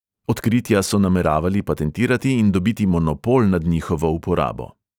Odkritja so nameravali patentirati in dobiti monopol nad njihovo uporabo.